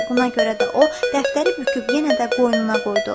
Buna görə də o, dəftəri büküb yenə də qoynuna qoydu.